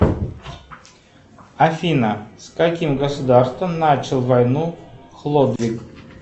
афина с каким государством начал войну хлодвиг